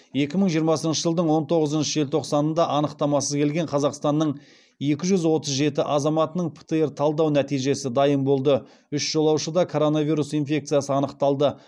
екі мың жиырмасыншы жылдың он тоғызыншы желтоқсанында анықтамасыз келген қазақстанның екі жүз отыз жеті азаматының птр талдау нәтижесі дайын болды үш жолаушыда коронавирус инфекциясы анықталды